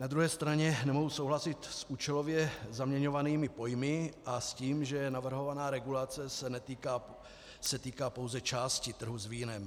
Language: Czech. Na druhé straně nemohu souhlasit s účelově zaměňovanými pojmy a s tím, že navrhovaná regulace se týká pouze části trhu s vínem.